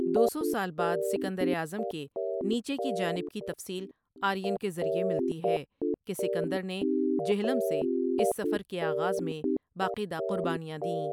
دوسو سال بعد سکندر اعظم کے نیچے کی جانب کی تفصیل آرین کے ذریعے ملتی ہے کہ سکندر نے جہلم سے اس سفر کے آغاز میں باقیدہ قربانیاں دیں ۔